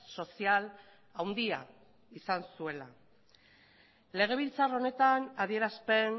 sozial handia izan zuela legebiltzar honetan adierazpen